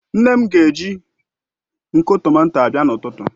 Nne m ga eji nko tomato abịa n'ututu